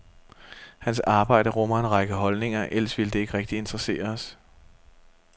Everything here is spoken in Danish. Hans arbejde rummer en række holdninger, ellers ville det ikke rigtig interessere os.